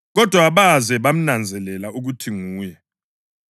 kodwa abaze bamnanzelela ukuthi nguye.